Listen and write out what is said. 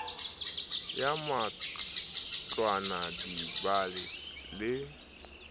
ya matlwana di ba le